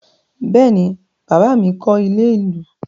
Bẹ́ẹ̀ ni, bàbá mi kọ́ ilé-ìlú.